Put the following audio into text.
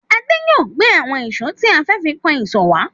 Adé máa gbé àwọn ìṣó tí a fẹ́ fi kan ìsọ̀ wá.